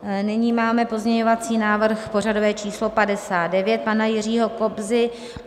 Nyní máme pozměňovací návrh pořadové číslo 59 pana Jiřího Kobzy.